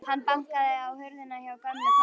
Hann bankaði á hurðina hjá gömlu konunni.